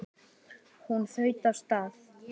Hún þaut af stað.